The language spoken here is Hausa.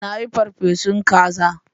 Na yi ferfesun kaza